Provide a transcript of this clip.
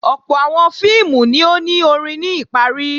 Ọ̀pọ̀ àwọn fíìmù ni ó ni orin ní ìparí